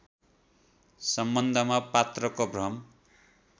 सम्बन्धमा पात्रको भ्रम